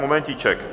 Momentíček.